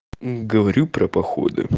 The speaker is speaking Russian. м говорю про походы